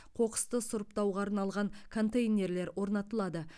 қоқысты сұрыптауға арналған контейнерлер орнатылады